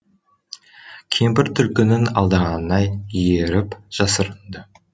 кемпір түлкінің алдағанына еріп жасырынды